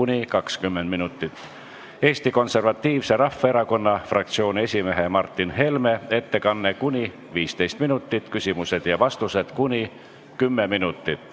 Neljandaks on Eesti Konservatiivse Rahvaerakonna fraktsiooni esimehe Martin Helme ettekanne ning küsimused ja vastused .